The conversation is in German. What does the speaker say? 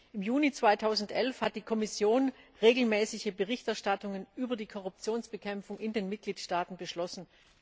Im Juni 2011 hat die Kommission regelmäßige Berichterstattungen über die Korruptionsbekämpfung in den Mitgliedstaaten beschlossen.